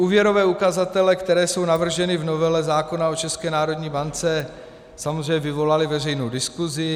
Úvěrové ukazatele, které jsou navrženy v novele zákona o České národní bance, samozřejmě vyvolaly veřejnou diskusi.